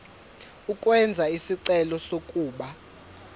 ukwenza isicelo sokuba